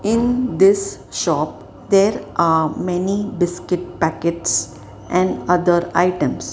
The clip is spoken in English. in this shop there are many biscuit packets and other items.